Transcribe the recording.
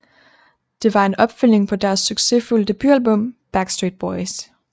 Det var en opfølgning på deres succesfulde debutalbum Backstreet Boys